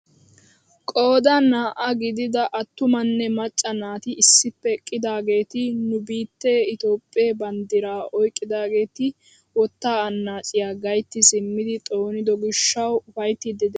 Qoodan naa"aa gidida attumanne macca naati issippe eqqidaageti nu biittee itoophphee banddiraa oyqqidaageti wottaa anaaciyaa gaytti simmidi xoonido gishshawu ufayttiidi de'oosona.